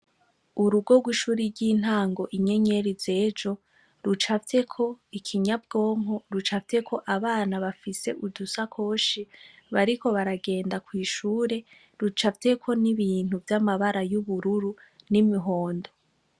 Urugorwa ishuri ry'intango inyenyeri zejo rucavyeko ikinyabwonko rucavyeko abana bafise udusa koshi bariko baragenda kw'ishure rucavyeko n'ibintu vy'amabara y'ubururu n'imihondo.